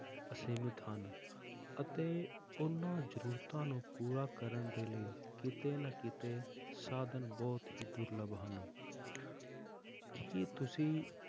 ਅਸੀਮਿਤ ਹਨ, ਅਤੇ ਉਹਨਾਂ ਜ਼ਰੂਰਤਾਂ ਨੂੰ ਪੂਰਾ ਕਰਨ ਦੇ ਲਈ ਕਿਤੇ ਨਾ ਕਿਤੇ ਸਾਧਨ ਬਹੁਤ ਹੀ ਦੁਰਲਭ ਹਨ ਕੀ ਤੁਸੀਂ